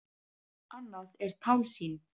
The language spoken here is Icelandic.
Annað er tálsýn.